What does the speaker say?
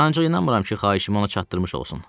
Ancaq inanmıram ki, xahişimi ona çatdırmış olsun.